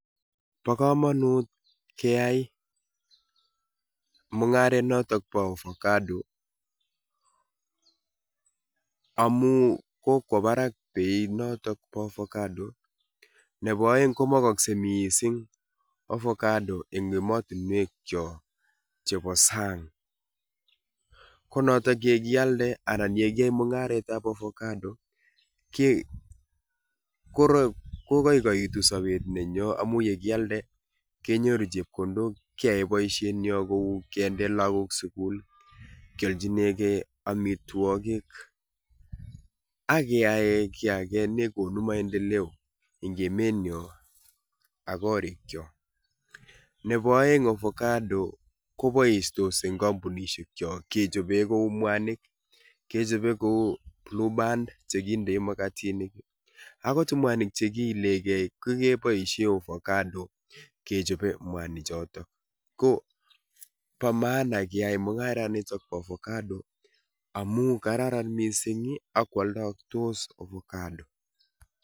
Bokomonut keyai mungaret noton bo ovacado amun kokwo barak biet noton bo ovacado nebo oeng komokokse missing ovacado eng emotinwek kyok chebo sang konoton yekialde anan yekiyoe mungaretab ovacado ke kokoikoitu sobet nenyo amun yekialde kenyoru chepkondok kyae boisiet nyon kou kende lagok sukul kiolchinengee amitwogik ak keyae kiy ake nekonu maendeleo ingimin ak korik kyok. Nebo oeng ovacado kobistos eng kompunisiek kyok kechobe kou mwanik kechobe kou blueband chekindei makatinik akot mwanik chekiilegee kokeboisie ovacado kechobe mwanichoton. Ko bo maana keyai mungaraniton bo ovocado amun kararan missing ih ak koaldotos ovacado